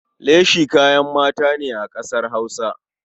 Leshi kayan mata ne a ƙasar Hausa.